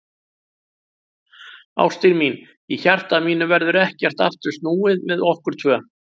Ástin mín, í hjarta mínu verður ekkert aftur snúið með okkur tvö.